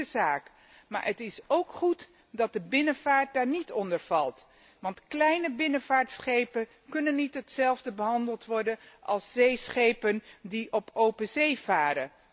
Een goede zaak, maar het is ook goed dat de binnenvaart daar niet onder valt, want kleine binnenvaartschepen kunnen niet hetzelfde worden behandeld als zeeschepen die op open zee varen.